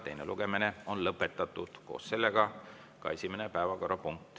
Teine lugemine on lõpetatud ja koos sellega ka esimene päevakorrapunkt.